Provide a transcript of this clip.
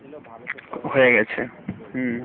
ভেবেছিলো ভারতের তো এই রকম চলবে।